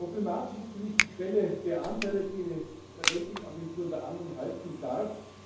Problematisch ist für mich die Schwelle der Anteile, die eine Ratingagentur unter anderem halten darf.